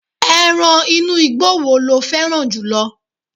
eran inú igbó wo lo féràn jùlọ